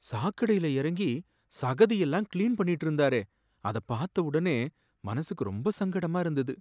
சாக்கடையில் இறங்கி சகதி எல்லாம் கிளீன் பண்ணிட்டு இருந்தாரே, அத பார்த்த உடனே மனசுக்கு ரொம்ப சங்கடமா இருந்தது.